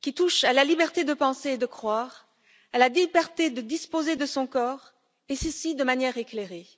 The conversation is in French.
qui touchent à la liberté de penser et de croire, à la liberté de disposer de son corps, et ceci de manière éclairée.